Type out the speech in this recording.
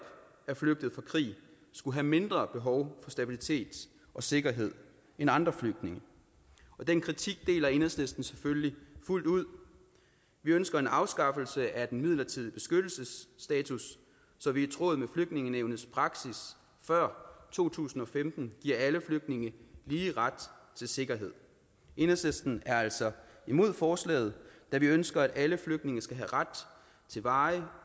er flygtet fra krig skulle have mindre behov for stabilitet og sikkerhed end andre flygtninge den kritik deler enhedslisten selvfølgelig fuldt ud vi ønsker en afskaffelse af den midlertidige beskyttelsesstatus så vi i tråd med flygtningenævnets praksis før to tusind og femten giver alle flygtninge lige ret til sikkerhed enhedslisten er altså imod forslaget da vi ønsker at alle flygtninge skal have ret til varig